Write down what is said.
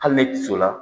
Hali ne kisɛ la